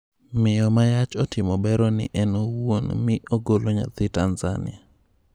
Miyo ma yach otimo bero ni en wouon mi ogolo nyathi Tanzania